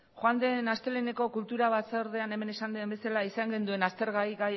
joan den asteleheneko kultura batzordean hemen esan den bezala izan genuen aztergai